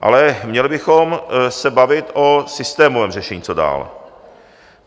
Ale měli bychom se bavit o systémovém řešení, co dál.